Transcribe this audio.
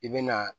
I bɛ na